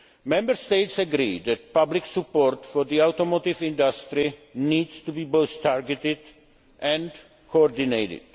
Member States agree that public support for the automotive industry needs to be both targeted and coordinated.